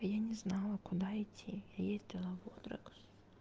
я не знала куда идти ездила в одрекс